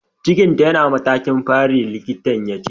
Cikin ta yana matakin fari, likitan ya ce.